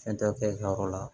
Fɛn tɛ kɛ i ka yɔrɔ la